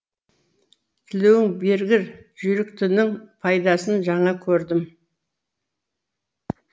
тілеуің бергір жүйіріктігінің пайдасын жаңа көрдім